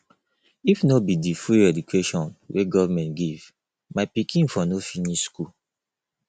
if no be di free education wey government give my pikin for no finish school